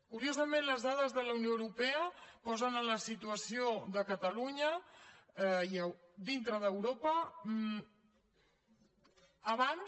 curiosament les dades de la unió europea posen la situació de catalunya dintre d’europa abans